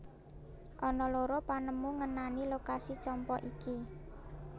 Ana loro panemu ngenani lokasi Champa iki